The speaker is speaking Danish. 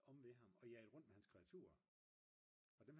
omme ved ham og jagede rundt med hans kreaturer